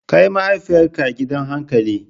Kai mahaifiyarka gidan hankali!